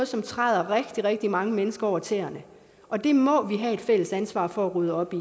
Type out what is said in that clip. som træder rigtig rigtig mange mennesker over tæerne og det må vi have et fælles ansvar for at rydde op i